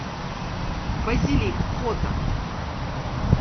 базилик фото